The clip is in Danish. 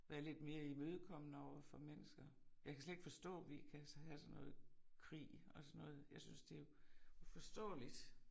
Være lidt mere imødkommende overfor mennesker. Jeg kan slet ikke forstå vi kan have sådan noget krig og sådan noget jeg synes det uforståeligt